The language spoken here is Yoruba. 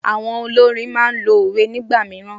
Àwọn olórin máa n lo òwe nígbà mìíràn